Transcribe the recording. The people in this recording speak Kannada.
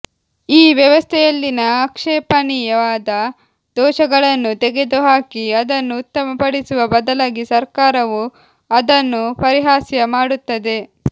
ಈ ವ್ಯವಸ್ಥೆಯಲ್ಲಿನ ಆಕ್ಷೇಪಣೀಯವಾದ ದೋಷಗಳನ್ನು ತೆಗೆದುಹಾಕಿ ಅದನ್ನು ಉತ್ತಮಪಡಿಸುವ ಬದಲಾಗಿ ಸರ್ಕಾರವು ಅದನ್ನು ಪರಿಹಾಸ್ಯ ಮಾಡುತ್ತದೆ